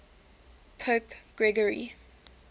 pope gregory